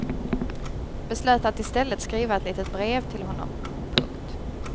Beslöt att i stället skriva ett litet brev till honom. punkt